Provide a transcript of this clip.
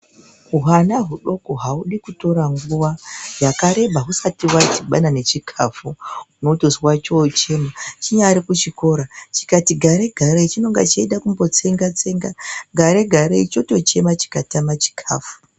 Hwana hwudoko hawudi kutora nguwa yakareba husati hwadibana nechikafu unotozwa chochema chinyari kuchikoro chikati garei garei chinonga cheida kumbotsenga tsenga garei garei chotochema chikatama chikafu.